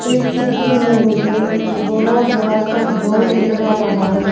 इस चित्र में मुझे एक बहुत बड़ा सा हॉल नजर आ रहा है।